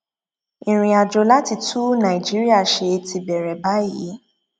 ìrìnàjò láti tún nàìjíríà ṣe ti bẹrẹ báyìí